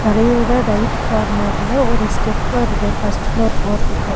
தரையோட right கார்னர்ல ஒரு step வருது ஃபஸ்ட் ஃப்ளோர் போறதுக்கு.